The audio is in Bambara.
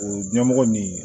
O ɲɛmɔgɔ nin